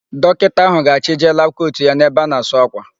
Dọkịta áhụ̀ ga-achịje labụ kotu ya n'ebe a na-asụ ákwà.